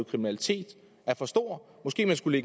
kriminalitet er for stor måske skulle